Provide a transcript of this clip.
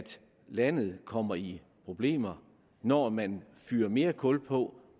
landet kommer i problemer når man fyrer mere kul på